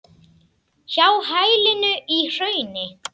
Hjá hælinu í hrauni.